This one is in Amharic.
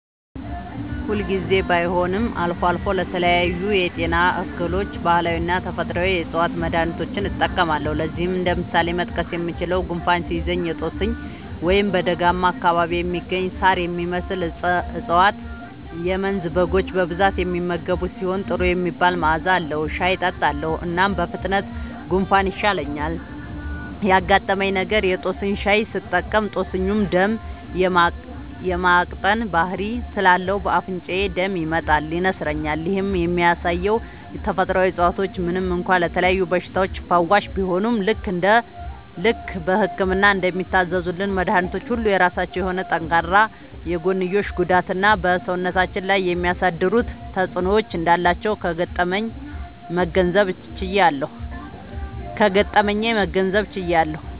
ሁል ጊዜ ባይሆንም አልፎ አልፎ ለተለያዩ የጤና እክሎች ባህላዊና ተፈጥአዊ የ ዕፅዋት መድሀኒቶችን እጠቀማለሁ። ለዚህም እንደ ምሳሌ መጥቀስ የምችለው፣ ጉንፋን ሲይዘኝ የ ጦስኝ (በደጋማ አካባቢ የሚገኝ ሳር የሚመስል እፀዋት - የመንዝ በጎች በብዛት የሚመገቡት ሲሆን ጥሩ የሚባል መዐዛ አለዉ) ሻይ እጠጣለሁ። እናም በፍጥነት ጉንፋኑ ይሻለኛል። ያጋጠመኝ ነገር:- የ ጦስኝ ሻይ ስጠቀም ጦስኙ ደም የ ማቅጠን ባህሪ ስላለው በ አፍንጫዬ ደም ይመጣል (ይነስረኛል)። ይህም የሚያሳየው ተፈጥሮአዊ እፀዋቶች ምንም እንኳ ለተለያዩ በሽታዎች ፈዋሽ ቢሆኑም፣ ልክ በህክምና እንደሚታዘዙልን መድኃኒቶች ሁሉ የራሳቸው የሆነ ጠንካራ የጎንዮሽ ጉዳትና በ ሰውነታችን ላይ የሚያሳድሩት ተጵዕኖ እንዳላቸው ከገጠመኜ መገንዘብ ችያለሁ።